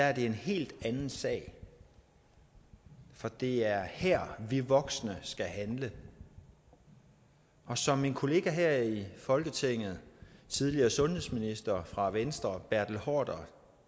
er det en helt anden sag for det er her vi voksne skal handle og som min kollega her i folketinget tidligere sundhedsminister fra venstre bertel haarder